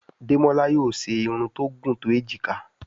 Demola yóò ṣe Irun tó gún to ejika.